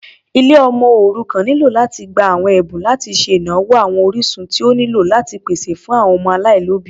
Ilé ọmọ òrukàn nílò láti gbà àwọn Ẹ̀bùn láti ṣe ìnáwó àwọn orísun tí ó nílò láti pèsè fún àwọn ọmọ aláìlóbìí.